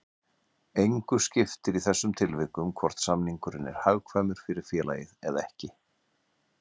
Engu skiptir í þessum tilvikum hvort samningurinn er hagkvæmur fyrir félagið eða ekki.